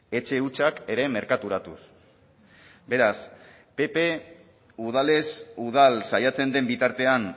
etxe hutsak ere merkaturatuz beraz pp udalez udal saiatzen den bitartean